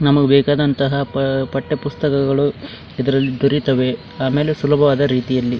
ನಮಗೆ ಬೇಕಾದಂತ ಪಠ್ಯ ಪುಸ್ತಕಗಳು ಇದ್ರಲ್ಲಿ ದೊರೆತ್ತವೆ ಆಮೇಲೆ ಸುಲಭವಾದ ರೀತಿಯಲ್ಲಿ --